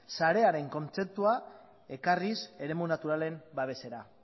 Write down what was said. sarearen kontzeptua ekarriz eremu naturalen babesera